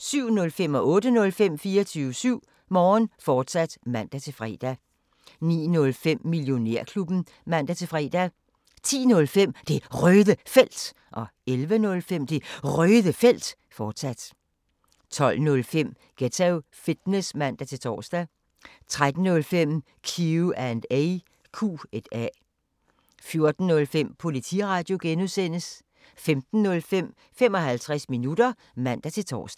07:05: 24syv Morgen, fortsat (man-fre) 08:05: 24syv Morgen, fortsat (man-fre) 09:05: Millionærklubben (man-fre) 10:05: Det Røde Felt 11:05: Det Røde Felt, fortsat 12:05: Ghetto Fitness (man-tor) 13:05: Q&A 14:05: Politiradio (G) 15:05: 55 minutter (man-tor)